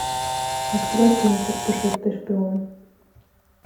открой кинчик пушистый шпион